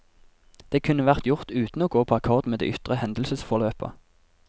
Det kunne vært gjort uten å gå på akkord med det ytre hendelsesforløpet.